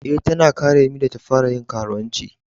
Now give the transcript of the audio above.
Eh, ta na karemi da ta fara yin karuwanci.